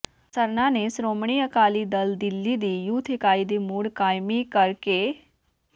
ਸਰਨਾ ਨੇ ਸ਼੍ਰੋਮਣੀ ਅਕਾਲੀ ਦਲ ਦਿੱਲੀ ਦੀ ਯੂਥ ਇਕਾਈ ਦੀ ਮੁੜ ਕਾਇਮੀ ਕਰ ਕੇ ਸ